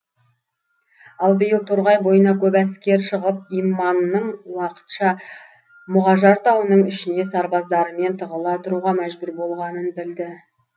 ал биыл торғай бойына көп әскер шығып иманның уақытша мұғажар тауының ішіне сарбаздарымен тығыла тұруға мәжбүр болғанын білді